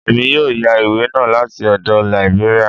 Èmi yóò yá ìwé náà láti ọdọ̀ Lìbéríà